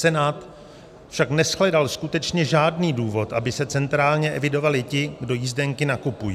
Senát však neshledal skutečně žádný důvod, aby se centrálně evidovali ti, kdo jízdenky nakupují.